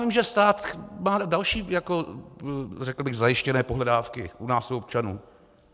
Vím, že stát má další, řekl bych, zajištěné pohledávky u nás u občanů.